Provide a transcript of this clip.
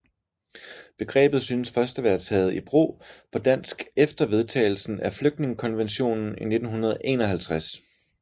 Begrebet synes først at være taget i brug på dansk efter vedtagelsen af flygtningekonventionen i 1951